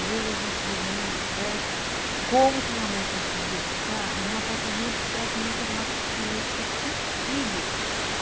Às vezes a gente reúne, conversa, como que minha mãe conseguia ficar num apartamento que praticamente era uma kitnet com cinco filhos.